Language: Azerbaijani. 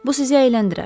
Bu sizi əyləndirər.